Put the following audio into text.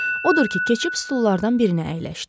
Odur ki, keçib stullardan birinə əyləşdi.